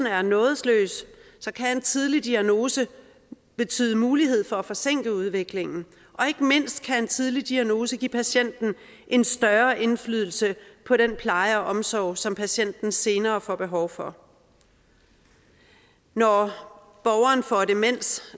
er nådesløs kan en tidlig diagnose betyde mulighed for at forsinke udviklingen og ikke mindst kan en tidlig diagnose give patienten en større indflydelse på den pleje og omsorg som patienten senere får behov for når borgeren for demens